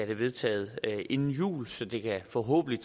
det vedtaget inden jul så det forhåbentlig